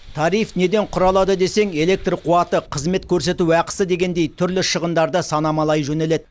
тариф неден құралады десең электр қуаты қызмет көрсету ақысы дегендей түрлі шығындарды санамалай жөнеледі